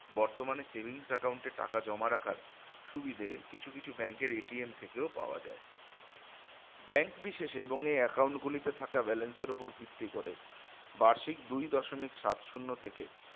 বর্তমানে savings account এ টাকা জমা রাখার সুবিধে কিছু কিছু bank এর থেকেও পাওয়া যায় bank বিশেষে এবং এই account গুলিতে থাকা balance এর উপর ভিত্তি করে বার্ষিক দুই দশমিক সাত শুন্য থেকে